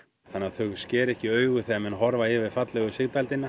þannig að þau skeri ekki í augu þegar menn horfa yfir fallegu